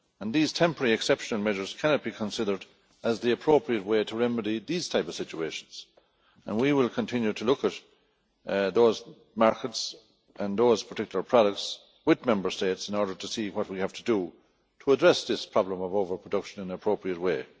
These temporary exceptional measures cannot be considered as the appropriate way to remedy these types of situations and we will continue to look at those markets and those particular products with Member States in order to see what we have to do to address this problem of over production in an appropriate way.